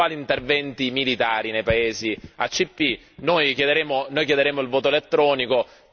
in Aula e che riguarda appunto gli eventuali interventi militari nei paesi ACP.